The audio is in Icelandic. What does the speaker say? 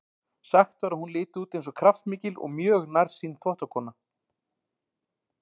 Sagt var að hún liti út eins og kraftmikil og mjög nærsýn þvottakona.